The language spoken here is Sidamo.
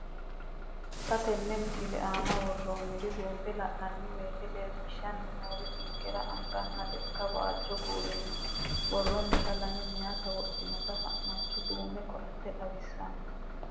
Xa tenne missile aana worroonniri buunxe la'nanni woyiite leellishshanni noori ninkera anganna lekka waajjo kuulinni buurroonnita, lame meyaati wodhitannota fa'nancho duume koatte xawissanno.